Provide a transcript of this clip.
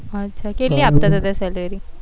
હા અચ્છા કેટલી આપતા હતા ત્યાં salary